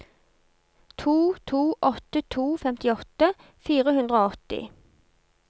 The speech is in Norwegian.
to to åtte to femtiåtte fire hundre og åtti